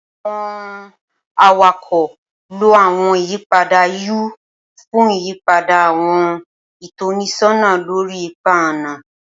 Awọn awakọ lo awọn iyipada U fun iyipada awọn itọnisọna lori ipa ọna.